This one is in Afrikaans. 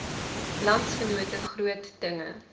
landsgenote groot dinge